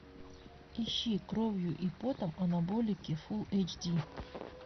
ищи кровью и потом анаболики фулл эйч ди